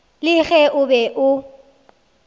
le ge o be o